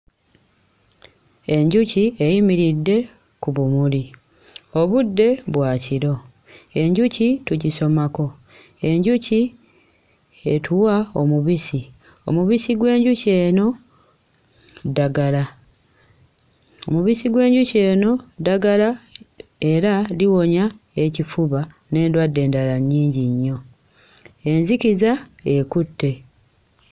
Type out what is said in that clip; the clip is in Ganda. Enjuki eyimiridde ku bumuli obudde bwa kiro. Enjuki tugisomako. Enjuki etuwa omubisi. Omubisi gw'enjuki eno ddagala, omubisi gw'enjuki eno ddagala era liwonya ekifuba n'endwadde endala nnyingi nnyo. Enzikiza ekutte.